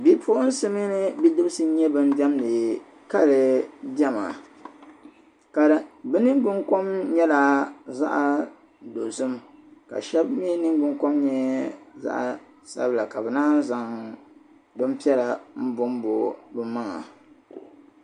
Bipuɣinsi mini bidibisi nyɛ ban diɛmdi kali diɛma ka bɛ niŋgbuŋkom nyɛla zaɣ' dozim ka shɛba mi niŋgbuŋkom nyɛ zaɣ' sabila ka bɛ naan yi zaŋ bimpiɛla m-bɔmbo bɛ maŋa.